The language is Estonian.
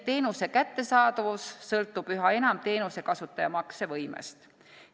Teenuse kättesaadavus sõltub üha enam teenuse kasutaja maksevõimest.